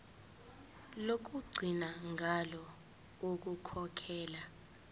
lokugcina ngalo ukukhokhela